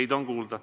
Teid on kuulda.